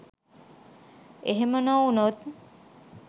එහෙම නොවුණොත්